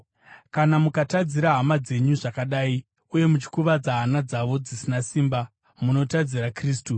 Kana mukatadzira hama dzenyu zvakadai uye muchikuvadza hana dzavo dzisina simba, munotadzira Kristu.